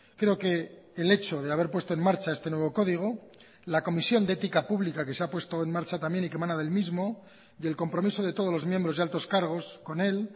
creo que el hecho de haber puesto en marcha este nuevo código la comisión de ética pública que se ha puesto en marcha también y que mana del mismo y el compromiso de todos los miembros y altos cargos con él